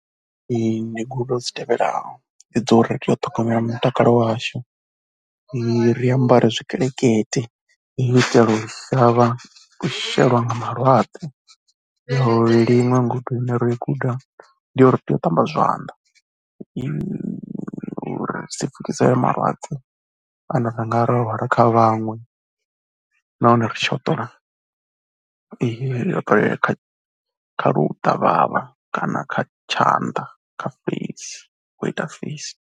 Ndi goloi dzi tevhelaho, dzo ri tea u ṱhogomela mutakalo washu ri ambare zwikelekete u itela u sa vha shelwa nga malwadze. Ndi iṅwe ngudo ine ro i guda ndi ya uri tea u ṱamba zwanḓa u uri ri si pfukisele malwadze ane ra nga vha ro a hwala kha vhaṅwe nahone ri tshi hoṱola, tea u hoṱelela kha kha ḽuṱavhavha kana kha tshanḓa kha feisi, wo ita feisi.